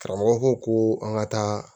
Karamɔgɔ ko ko an ka taa